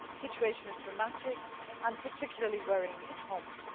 The situation is dramatic and particularly worrying in Homs.